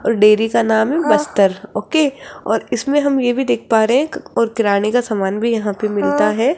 और डेयरी का नाम है बस्तर ओके और इसमें हम ये भी देख पा रहे हैं कि और किराने का समान भी यहां पे मिलता है।